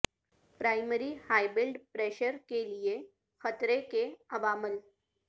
primary high blood pressure کے لئے خطرے کے عوامل